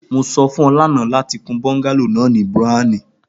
mo sọ fun ọ lana lati kun bungalow browni